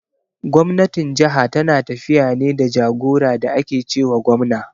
Gwamnatin jaha tana tafiya ne da jagora da ake ce wa gwamna.